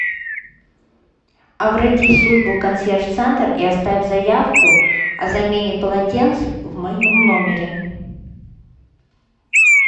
обратись в службу консьерж центр и оставь заявку о замене полотенец в моем номере